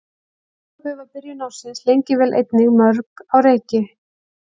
Í Evrópu var byrjun ársins lengi vel einnig mjög á reiki.